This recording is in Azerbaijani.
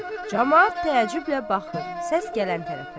Camaat təəccüblə baxır, səs gələn tərəfə.